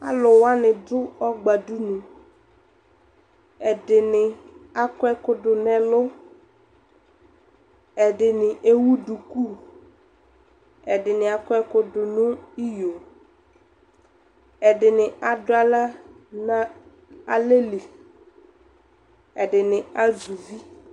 Alʋ wanɩ dʋ ɔgbadunu, ɛdɩnɩ akɔ ɛkʋ dʋ nʋ ɛlʋ Ɛdɩnɩ ewu duku Ɛdɩnɩ akɔ ɛkʋ dʋ nʋ iyo Ɛdɩnɩ adʋ aɣla nʋ alɛ li Ɛdɩnɩ azɛ uvi